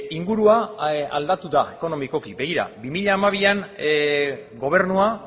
ingurua aldatu da ekonomikoki begira bi mila hamabian gobernua